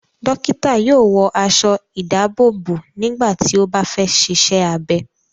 Dọ́kítá yóò wọ aṣọ-ìdáàbòbò nígbà tí ó bá fẹ́ ṣiṣẹ́ abẹ.